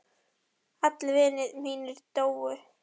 Allir vinir mínir dóu.